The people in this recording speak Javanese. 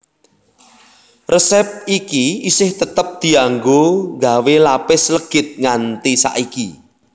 Resép iki isih tetep dianggo nggawé lapis legit nganti saiki